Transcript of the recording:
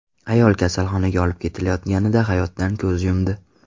Ayol kasalxonaga olib ketilayotganida hayotdan ko‘z yumdi.